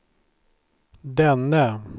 denne